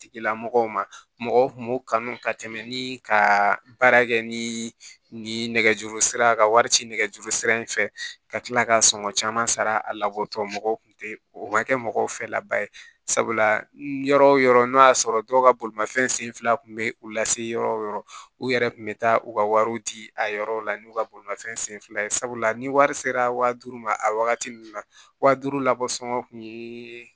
Tigilamɔgɔw ma mɔgɔw kun b'u kanu ka tɛmɛ ni ka baara kɛ ni nɛgɛjuru sira ye ka wari ci nɛgɛjuru sira in fɛ ka tila ka sɔngɔn caman sara a labɔtɔ mɔgɔw kun tɛ o ka kɛ mɔgɔw fɛ laba ye sabula yɔrɔ o yɔrɔ n'o y'a sɔrɔ dɔw ka bolimafɛn sen fila kun bɛ u lase yɔrɔ o yɔrɔ u yɛrɛ tun bɛ taa u ka wariw ci a yɔrɔw la n'u ka bolimafɛn sen fila ye sabula ni wari sera waa duuru ma a wagati ninnu na wa duuru labɔ sɔngɔ kun ye